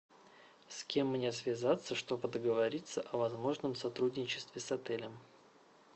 с кем мне связаться чтобы договориться о возможном сотрудничестве с отелем